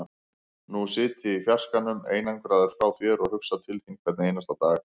Nú sit ég í fjarskanum, einangraður frá þér, og hugsa til þín hvern einasta dag.